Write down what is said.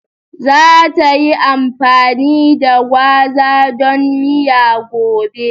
Za ta yi amfani da gwaza don miya gobe.